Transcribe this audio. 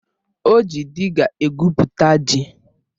O ji dịga egwupụta ji